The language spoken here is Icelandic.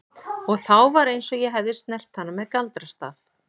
Og þá var eins og ég hefði snert hana með galdrastaf.